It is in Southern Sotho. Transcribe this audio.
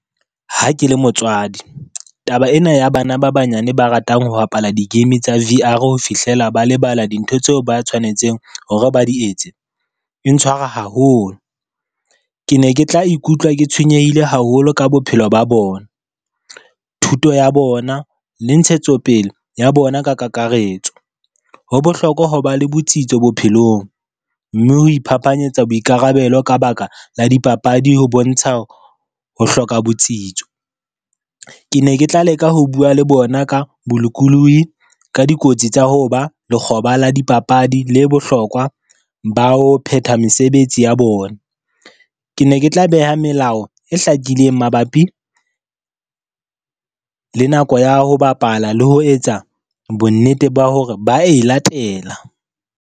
Ha ke le motswadi taba ena ya bana ba banyane ba ratang ho bapala di-game tsa V_R ho fihlela ba lebala dintho tseo ba tshwanetseng hore ba di etse, e ntshwara haholo. Ke ne ke tla ikutlwa ke tshwenyehile haholo ka bophelo ba bona, thuto ya bona le ntshetsopele ya bona ka kakaretso. Ho bohlokwa ho ba le botsitso bophelong, mme ho iphaphanyetsa boikarabelo ka baka la dipapadi ho bontsha ho hloka botsitso. Ke ne ke tla leka ho bua le bona ka bolokolohi ka dikotsi tsa ho ba lekgoba la dipapadi le bohlokwa ba ho phetha mesebetsi ya bona. Ke ne ke tla beha melao e hlakileng mabapi, le nako ya ho bapala le ho etsa bonnete ba hore ba e latela.